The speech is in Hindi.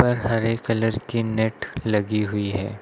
ऊपर हरे कलर की नेट लगी हुई है।